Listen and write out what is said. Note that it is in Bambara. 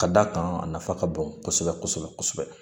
Ka d'a kan a nafa ka bon kosɛbɛ kosɛbɛ